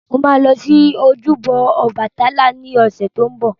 Mo ma lọ sí ojúbọ Ọbàtálá ní ọ̀sẹ̀ tó ń bọ̀